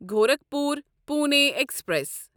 Gorakhpur Pune express